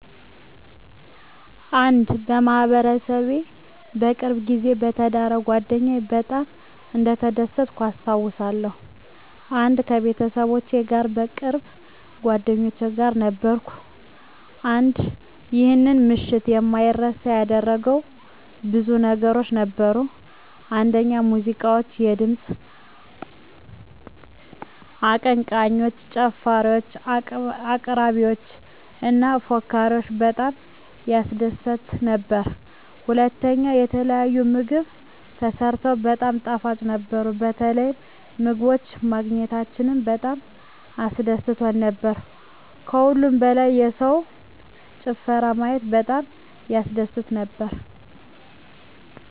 1. በማህበረሰቤ በቅርብ ጊዜ በተዳረው ጓደኛየ በጣም እንደተደሰትኩኝ አስታውሳለሁ። 1. ከቤተሰቦቼ እና ከቅርብ ጓደኞቼ ጋር ነበርኩኝ። 1. ይህን ምሽት የማይረሳ ያደረገው ብዙ ነገሮች ነበሩ፤ አንደኛ ሙዚቃዎች፣ የድምፅ አቀንቃኞች፣ ጨፋሪወች፣ አቅራሪዎች እና ፎካሪወች በጣም ያስደስት ነበር። *ሁለተኛ፣ የተለያዩ ምግቦች ተሰርተው በጣም ጣፋጭ ነበሩ፣ የተለያዩ ምግቦች ማግኘታችን በጣም አስደስቶን ነበር። ከሁሉም በላይ የሰውን ጭፈራ ማየት በጣም ያስደስት ነበር።